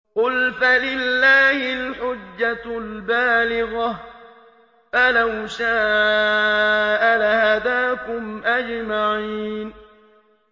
قُلْ فَلِلَّهِ الْحُجَّةُ الْبَالِغَةُ ۖ فَلَوْ شَاءَ لَهَدَاكُمْ أَجْمَعِينَ